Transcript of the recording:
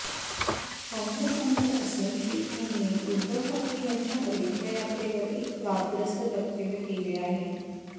काँग्रेस आमदार असलम शेख यांनी उद्धव ठाकरे यांच्या अयोध्या यात्रेवर एक वादग्रस्त वक्तव्य केले आहे